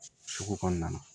Sugu kɔnɔna na